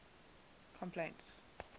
complaints